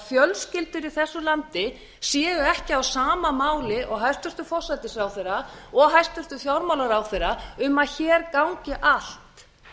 fjölskyldur í þessu landi séu ekki á sama máli og hæstvirtur forsætisráðherra og hæstvirtur fjármálaráðherra um að hér gangi allt